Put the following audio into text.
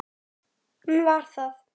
Já, hann var það.